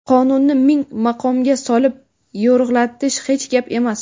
qonunni ming maqomga solib yo‘rg‘alatish hech gap emas.